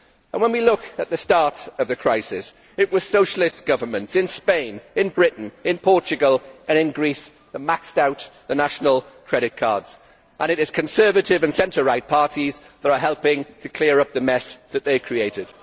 When we look at the start of the crisis, it was socialist governments in Spain, in Britain, in Portugal and in Greece that maxed out the national credit cards, and it is conservative and centre right parties that are helping to clear up the mess that they created.